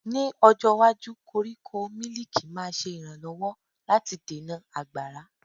Ní ọjọ́ iwájú, koríko mílìkì máa ṣe ìrànlọ́wọ́ láti dènà àgbàrá.